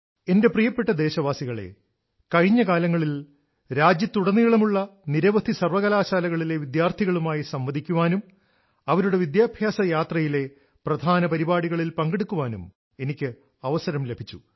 എന്റെ പ്രിയപ്പെട്ട ദേശവാസികളെ കഴിഞ്ഞ കാലങ്ങളിൽ രാജ്യത്തുടനീളമുള്ള നിരവധി സർവകലാശാലകളിലെ വിദ്യാർത്ഥികളുമായി സംവദിക്കാനും അവരുടെ വിദ്യാഭ്യാസ യാത്രയിലെ പ്രധാന പരിപാടികളിൽ പങ്കെടുക്കാനും എനിക്ക് അവസരം ലഭിച്ചു